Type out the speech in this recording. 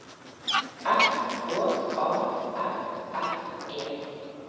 S K A F F E